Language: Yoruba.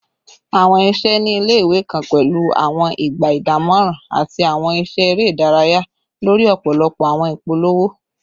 Awọn iṣẹ ni ile-iwe kan pẹlu awọn igba idamọran ati awọn iṣẹ ere idaraya lori ọpọlọpọ awọn ipolowo